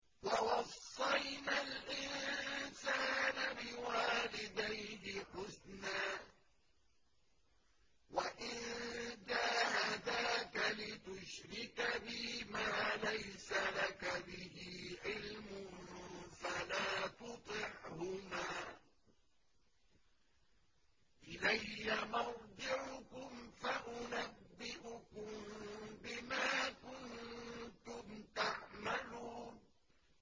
وَوَصَّيْنَا الْإِنسَانَ بِوَالِدَيْهِ حُسْنًا ۖ وَإِن جَاهَدَاكَ لِتُشْرِكَ بِي مَا لَيْسَ لَكَ بِهِ عِلْمٌ فَلَا تُطِعْهُمَا ۚ إِلَيَّ مَرْجِعُكُمْ فَأُنَبِّئُكُم بِمَا كُنتُمْ تَعْمَلُونَ